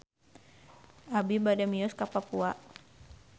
Abi bade mios ka Papua